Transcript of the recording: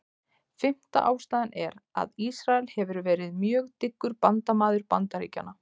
Fimmta ástæðan er, að Ísrael hefur verið mjög dyggur bandamaður Bandaríkjanna.